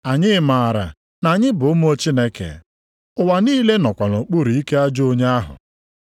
Anyị maara na anyị bụ ụmụ Chineke, ụwa niile nọkwa nʼokpuru ike ajọ onye ahụ.